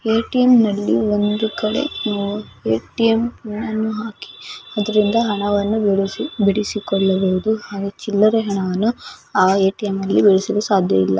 ATM. ನಲ್ಲಿ ಒಂದೊಂದು ಕಡೆ ಎ.ಟಿ.ಎಂ. ಕಾರ್ಡನ್ನು ಹಾಕಿ ಅದರಿಂದ ಹಣವನ್ನು ಹಾಗೂ ಚಿಲ್ಲರೆಗಳನ್ನು ಎ.ಟಿ.ಎಂ. ನಲ್ಲಿ ಸಾಧ್ಯವಿಲ್ಲ